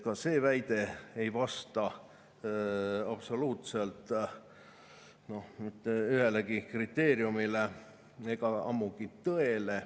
Ka see väide ei vasta absoluutselt mitte ühelegi kriteeriumile ega ammugi tõele.